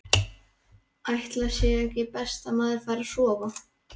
Ætli sé ekki best að maður fari að sofa.